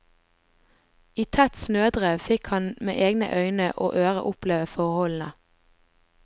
I tett snødrev fikk han med egne øyne og ører oppleve forholdene.